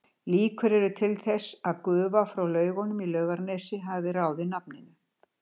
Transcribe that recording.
Líkur eru til þess að gufa frá laugunum í Laugarnesi hafi ráðið nafninu.